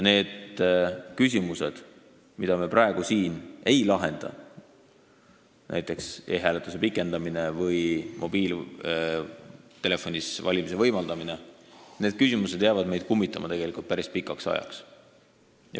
Need küsimused, mida me praegu siin ei lahenda, näiteks e-hääletuse aja pikendamine või mobiiltelefonis hääletamise võimaldamine, jäävad meid kummitama tegelikult päris pikaks ajaks.